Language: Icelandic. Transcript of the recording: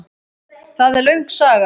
Það er löng saga.